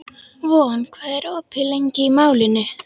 Von, hvað er opið lengi í Málinu?